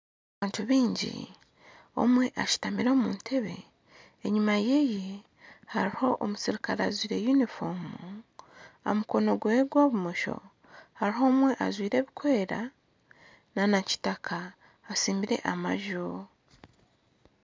Abantu baingi omwe ashutamire omu ntebe enyuma ye hariho omuserukare ajwaire yunifoomu aha mukono gwe gwa bumosho hariho omwe ajwaire ebirikwera nana kitaka atsimbire amaju.